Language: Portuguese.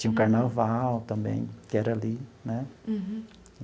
Tinha o carnaval também, que era ali, né?